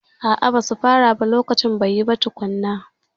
A'a, ba su fara ba lokaci bai yi ba tukunna.